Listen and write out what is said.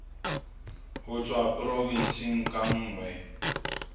ho tswa porofensing ka nngwe